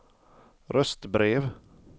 röstbrev